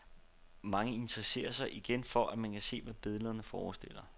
Mange interesserer sig igen for, at man kan se hvad billederne forestiller.